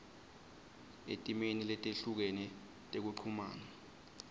etimeni letehlukene tekuchumana